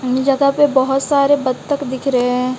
इन जगह पे बहोत सारे बत्तख दिख रहे--